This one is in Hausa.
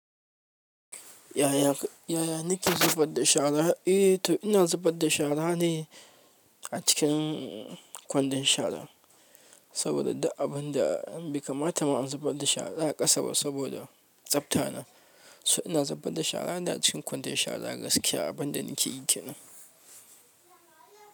Yaya ni ke zubar da shara? Eh to ina zubar da shara ne a cikin kwandon shara saboda duk abin da baikamata ma in zubar da shara a ƙasa ba saboda tsafta na. So ina zubar da shara ne a cikin kwandon shara gaskiya abin da ni ke yi ke nan.